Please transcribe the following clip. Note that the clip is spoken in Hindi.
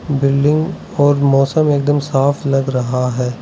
बिल्डिंग और मौसम एकदम साफ लग रहा है।